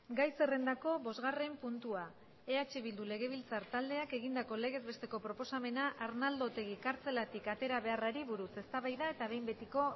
gai zerrendako bosgarren puntua eh bildu legebiltzar taldeak egindako legez besteko proposamena arnaldo otegi kartzelatik atera beharrari buruz eztabaida eta behin betiko